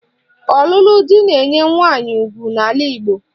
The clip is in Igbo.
Ọlụlụ di na-enye nwaanyị ugwu n'ala Igbo